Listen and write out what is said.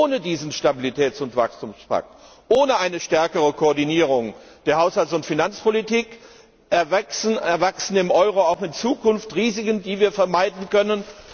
Ohne diesen Stabilitäts und Wachstumspakt, ohne eine stärkere Koordinierung der Haushalts und Finanzpolitik erwachsen dem Euro auch in Zukunft Risiken, die wir vermeiden können.